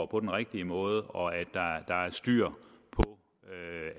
på den rigtige måde og der er styr på